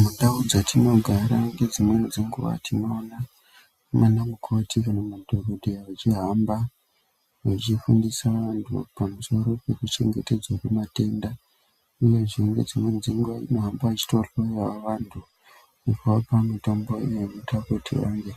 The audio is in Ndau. Mundau dzetinogara , ngedzimweni dzenguwa tinoona vanamukoti kana madhokodheya, vechihamba vechifundisa vantu, pamusoro pekuchengetedzwa kwematenda, uyezve ngedzimweni dzenguwa vanohamba vechitaurirawo vantu, kuvapa mitombo inoita kuti vantu